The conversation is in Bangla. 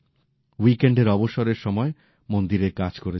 উইকএন্ডের অবসরের সময়ে মন্দিরের কাজ করেছেন